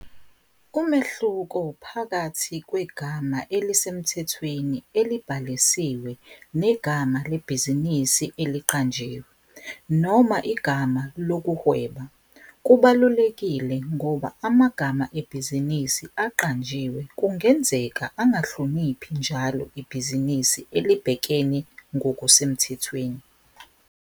Umehluko phakathi kwegama elisemthethweni elibhalisiwe negama lebhizinisi eliqanjiwe, noma igama lokuhweba, kubalulekile ngoba amagama ebhizinisi aqanjiwe kungenzeka angahloniphi njalo ibhizinisi elibhekene ngokusemthethweni.